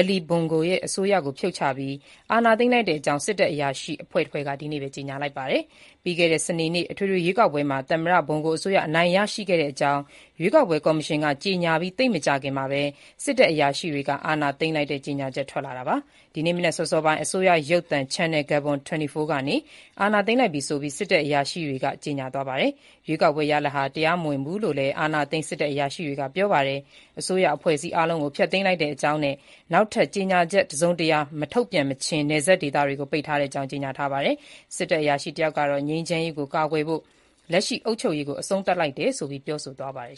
Ali Bongo ရဲ့ အစိုးရကို ဖြုတ်ချပြီး အာဏာသိမ်းလိုက်တဲ့အကြောင်း စစ်တပ်အရာရှိ အဖွဲ့တဖွဲ့က ဒီနေ့ကြေညာပါတယ်။ ပြီးခဲ့တဲ့ စနေနေ့ အထွေထွေရွေးကောက်ပွဲမှာ သမ္မတ Bongo အစိုးရ အနိုင်ရတဲ့အကြောင်း ရွေးကောက်ပွဲ ကော်ရှင်က ကြေညာပြီး သိပ်မကြာခင်မှာပဲ စစ်တပ်အရာရှိတွေက အာဏာသိမ်းတဲ့ ကြေညာချက် ထွက်လာတာပါ။ ဒီနေ့ မနက်စောစောပိုင်း အစိုးရ ရုပ်သံ Channel Gabon 24 ကနေ အာဏာသိမ်းလိုက်ပြီဆိုပြီး စစ်တပ်အရာရှိတွေရဲ့ ကြေညာပါတယ်။ ရွေးကောက်ပွဲရလဒ်ဟာ တရားမဝင်ဘူးလို့လည်း အာဏာသိမ်း စစ်တပ်အရာရှိတွေက ပြောပါတယ်။ အစိုးရအဖွဲ့အစည်း အားလုံးကို ဖျက်သိမ်းလိုက်တဲ့အကြောင်းနဲ့ နယ်ခြားတွေကို နောက်ထပ် ကြေညာချက် တစုံတရာ မထုတ်ပြန်မခြင်း ပိတ်ထားတဲ့အကြောင်း ကြေညာပါတယ်။ စစ်တပ်အရာရှိတယောက်ကတော့ ငြိမ်းချမ်းရေးကို ကာကွယ်ဖို့ လက်ရှိအုပ်ချုပ်ရေးကို အဆုံးသတ်လိုက်တယ်ဆိုပြီး ပြောဆိုသွားပါတယ်